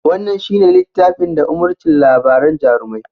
Wannan shi ne littafin da umurcin labaran jarumai